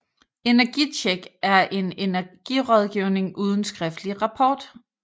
EnergiTjek er energirådgivning uden skriftlig rapport